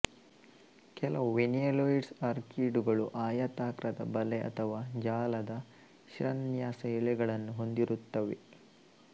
ಕೆಲವು ವೆನಿಲೋಯಿಡ್ಸ್ ಆರ್ಕೀಡುಗಳು ಆಯಾತಾಕ್ರದ ಬಲೆ ಅಥವಾ ಜಾಲದ ಶಿರಾನ್ಯಾಸ ಎಲೆಗಳನ್ನು ಹೊಂದಿರುತ್ತವೆ